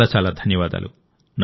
చాలా చాలా ధన్యవాదాలు